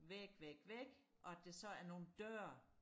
væg væg væg og at der så er nogle døre